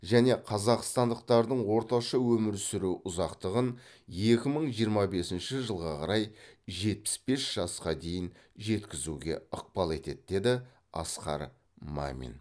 және қазақстандықтардың орташа өмір сүру ұзақтығын екі мың жиырма бесінші жылға қарай жетпіс бес жасқа дейін жеткізуге ықпал етеді деді асқар мамин